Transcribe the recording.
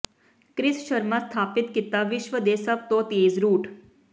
Chris Sharma ਸਥਾਪਿਤ ਕੀਤਾ ਵਿਸ਼ਵ ਦੇ ਸਭ ਤੋਂ ਤੇਜ਼ ਰੂਟ